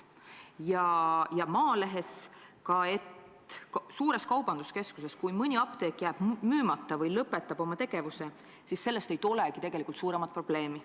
Ja ka Maalehes ütlesid, et kui suures kaubanduskeskuses jääb mõni apteek müümata või lõpetab tegevuse, siis ei tule sellest tegelikult suuremat probleemi.